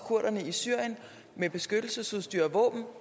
i syrien med beskyttelsesudstyr og våben